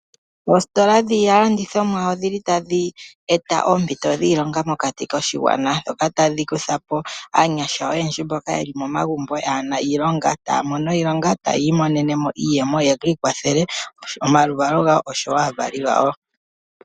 Oositola dhiilandithomwa odhili tadhi eta oompito dhiilonga mokati koshigwana ndhoka tadhi kutha po aanyasha oyendji mboka yeli momagumbo kaayena iilonga taya mono iilonga, taya imonene mo iiyemo ye ki ikwathele, omaluvalo gawo osho wo aavali yawo.